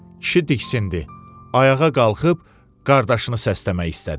Kişi diksindi, ayağa qalxıb qardaşını səsləmək istədi.